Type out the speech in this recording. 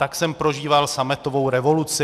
Tak jsem prožíval sametovou revoluci.